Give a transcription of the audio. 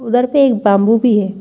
उधर पे एक बाम्बू भी है।